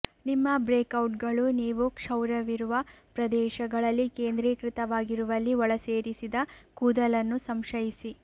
ನಿಮ್ಮ ಬ್ರೇಕ್ಔಟ್ಗಳು ನೀವು ಕ್ಷೌರವಿರುವ ಪ್ರದೇಶಗಳಲ್ಲಿ ಕೇಂದ್ರೀಕೃತವಾಗಿರುವಲ್ಲಿ ಒಳಸೇರಿಸಿದ ಕೂದಲನ್ನು ಸಂಶಯಿಸಿ